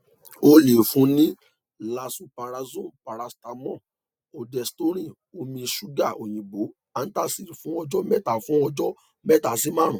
o le fun ni lanzoprazole paracetamol ondensetron omi ṣuga oyinbo antacid fun ọjọ mẹta fun ọjọ mẹta si marun